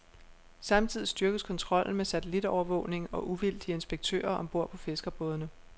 Samtidig styrkes kontrollen med satellitovervågning og uvildige inspektører om bord på fiskerbådene.